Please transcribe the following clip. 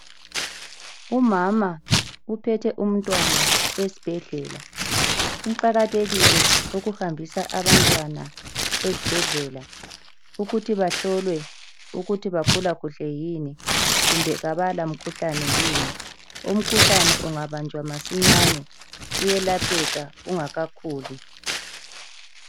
Umama uphethe umntwana esibhedlela. Kuqakathekile ukuhambisa abantwana ezibhedlela ukuthi bahlolwe ukuthi bakhula kuhle yini kumbe kabala mkhuhlane yini. Umkhuhlane ungabanjwa masinyane uyelapheka ungakakhuli.